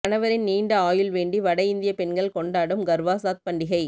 கணவரின் நீண்ட ஆயுள் வேண்டி வட இந்திய பெண்கள் கொண்டாடும் கர்வா சாத் பண்டிகை